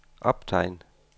optegn